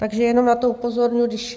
Takže jenom na to upozorňuji.